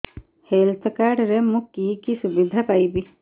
health card ରେ ମୁଁ କି କି ସୁବିଧା ପାଇବି